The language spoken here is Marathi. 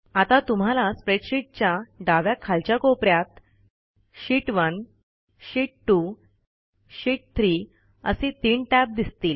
आता तुम्हाला स्प्रेडशीटच्या डाव्या खालच्या कोप यात शीत1 शीत2 शीत3 असे तीन टॅब दिसतील